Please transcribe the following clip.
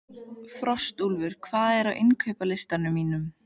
Frostúlfur, hvað er á innkaupalistanum mínum?